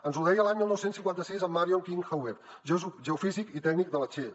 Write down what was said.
ens ho deia l’any dinou cinquanta sis en marion king hubbert geofísic i tècnic de la shell